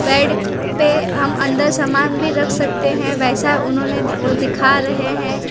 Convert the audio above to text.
Bed पे हम अंदर समान भी रख सकते है वैसा उन्होंने वो दिखा रहे हैं।